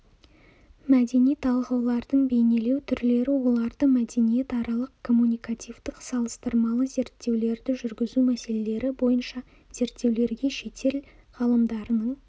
мәдени талғаулардың бейнелену түрлері оларды мәдениетаралық-коммуникативтік салыстырмалы зерттеулерді жүргізу мәселелері бойынша зерттеулерге шетел ғалымдарының